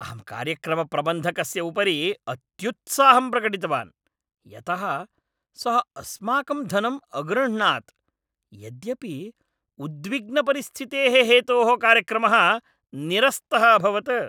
अहं कार्यक्रमप्रबन्धकस्य उपरि अत्युत्साहं प्रकटितवान्, यतः सः अस्माकम् धनम् अगृह्णात् । यद्यपि उद्विग्नपरिस्थितेः हेतोः कार्यक्रमः निरस्तः अभवत्।